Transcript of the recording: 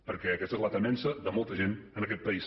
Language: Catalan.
perquè aquesta és la temença de molta gent en aquest país